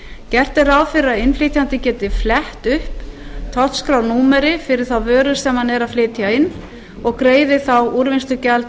gert er ráð fyrir að innflytjandi geti flett upp tollskrárnúmeri fyrir þá vöru sem hann er að flytja inn og greiðir þá úrvinnslugjald í